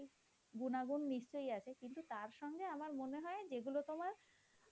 গুনাগুন নিশ্চয়ই আছে কিন্তু তার সঙ্গে আমার মনে হয় যেগুলো তোমার,